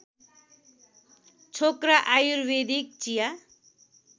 छोक्रा आयुर्वेदिक चिया